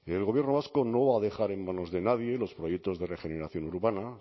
el gobierno vasco no va a dejar en manos de nadie los proyectos de regeneración urbana